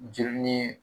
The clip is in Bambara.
Jeli ni